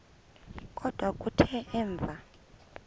kodwa kuthe emva